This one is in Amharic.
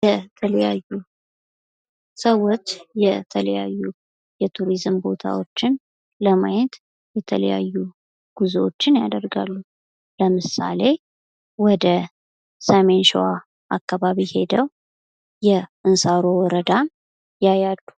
የተለያዩ ሰዎች የተለያዩ የቱሪዝም ቦታዎች ለማየት የተለያዩ ጉዞዎች ያደርጋሉ። ለምሳሌ ወደ ሰሜን ሸዋ አካባቢ ሔደው የእንሳሮ ወረዳን ያያሉ።